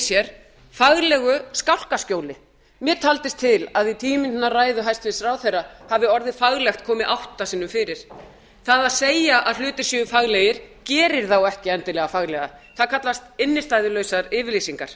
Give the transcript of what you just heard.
sig faglega skálkaskjóli mér taldist til að í tíu mínútna ræðu hæstvirts ráðherra hafi orðið faglegt komið átta sinnum fyrir það að segja að hlutir séu faglegir gerir þá ekki endilega faglega það kallast innstæðulausar yfirlýsingar